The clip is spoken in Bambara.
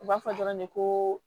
U b'a fɔ dɔrɔn de ko